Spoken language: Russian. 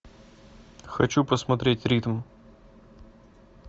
хочу посмотреть ритм